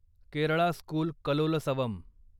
Kerala school Kalolsavam